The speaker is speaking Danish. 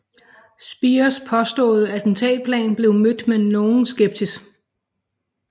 Speers påståede attentatplan blev mødt med nogen skepsis